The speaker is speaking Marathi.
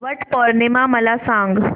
वट पौर्णिमा मला सांग